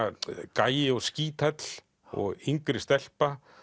gæi og skíthæll og yngri stelpa